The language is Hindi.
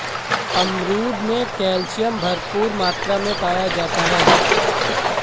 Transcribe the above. अमरूद में कैल्शियम भरपूर मात्रा में पाया जाता है